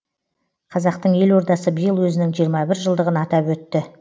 қазақтың елордасы биыл өзінің жиырма бір жылдығын атап өтті